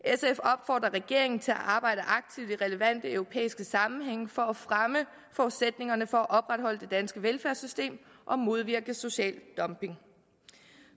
opfordrer regeringen til at arbejde aktivt i relevante europæiske sammenhænge for at fremme forudsætningerne for at opretholde det danske velfærdssystem og modvirke social dumping